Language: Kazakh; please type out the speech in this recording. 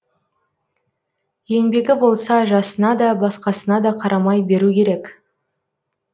еңбегі болса жасына да басқасына да қарамай беру керек